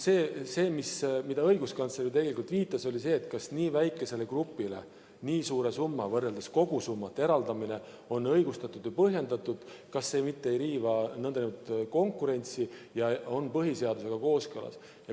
See, millele õiguskantsler viitas, oli tegelikult see, et kas nii väikesele grupile nii suure summa eraldamine võrreldes kogusummaga on õigustatud ja põhjendatud – kas see mitte ei riiva konkurentsi ja on põhiseadusega kooskõlas?